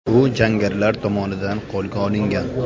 U jangarilar tomonidan qo‘lga olingan.